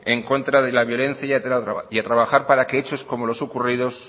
en contra de la violencia y a trabajar para que hechos como los ocurridos